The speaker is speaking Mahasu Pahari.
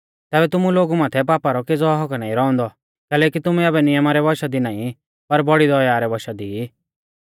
तैबै तुमु लोगु माथै पापा रौ केज़ौ हक्क्क नाईं रौउंदौ कैलैकि तुमै आबै नियमा रै वशा दी नाईं पर बौड़ी दया रै वशा दी ई